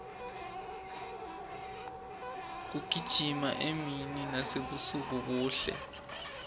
kugijima emini nasebusuku kuhle